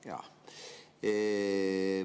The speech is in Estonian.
Jah.